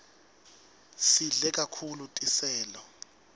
sidle kahulu tiselo